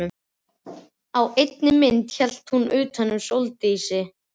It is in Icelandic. Á einni myndinni hélt hann utan um Sóldísi.